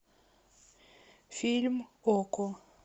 фильм окко